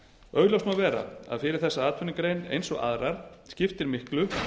augljóst má vera að fyrir þessa atvinnugrein eins og aðrar skiptir miklu